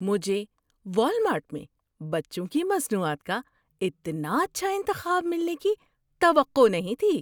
مجھے والمارٹ میں بچوں کی مصنوعات کا اتنا اچھا انتخاب ملنے کی توقع نہیں تھی۔